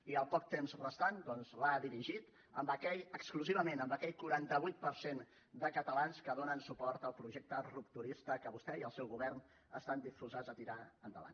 i el poc temps restant doncs l’ha dirigit exclusivament a aquell quaranta vuit per cent de catalans que donen suport al projecte rupturista que vostè i el seu govern estan disposats a tirar endavant